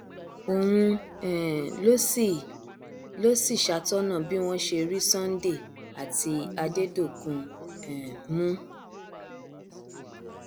òun um ló sì ló sì ṣàtọnà bí wọn ṣe rí sunday àti adẹdọkùn um mú